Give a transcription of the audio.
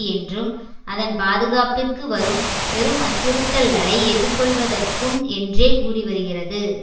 என்றும் அதன் பாதுகாப்பிற்கு வரும் பெரும் அச்சுறுத்தல்களை எதிர்கொள்வதற்கும் என்றே கூறிவருகிறது